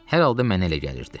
Hər halda mənə elə gəlirdi.